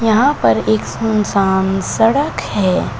यहां पर एक सुन सान सड़क है।